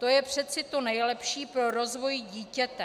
To je přece to nejlepší pro rozvoj dítěte.